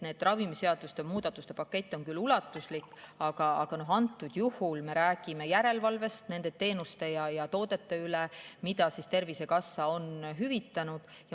Ravimiseaduste muudatuste pakett on küll ulatuslik, aga antud juhul me räägime järelevalvest nende teenuste ja toodete üle, mida Tervisekassa on hüvitanud.